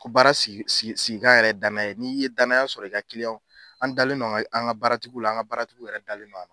Ko baara sigi sigi sigikan yɛrɛ danaya ye n'i ye danya sɔrɔ i ka kiliyanw an dalen an ka an ka baara tigiw la an ka baara tigiw yɛrɛ dalen no